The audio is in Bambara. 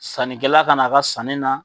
Sannikɛla ka n'a ka sanni na